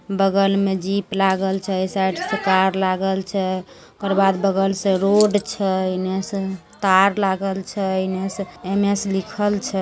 बगल में जीप लागल छे। साइड से कार लागल छे ओकर बाद बगल से रोड छे एने से तार लागल छे एने से एने से लिखल छे।